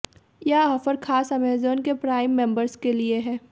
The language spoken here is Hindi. यह ऑफर खास अमेज़न के प्राइम मेंबर्स के लिए है